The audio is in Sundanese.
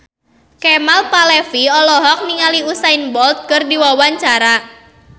Kemal Palevi olohok ningali Usain Bolt keur diwawancara